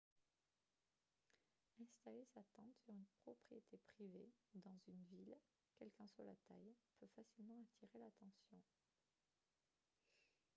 installer sa tente sur une propriété privée ou dans une ville quelle qu'en soit la taille peut facilement attirer l'attention